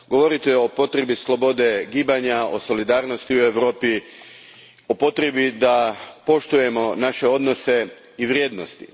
Govorite o potrebi slobode gibanja, o solidarnosti u Europi, o potrebi da poštujemo naše odnose i vrijednosti.